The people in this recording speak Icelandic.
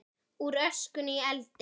Úr öskunni í eldinn